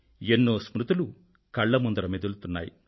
ఎన్నో స్మృతులు కళ్ళ ముందర మెదులుతున్నాయి